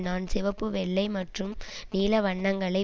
நான் சிவப்பு வெள்ளை மற்றும் நீல வண்ணங்களை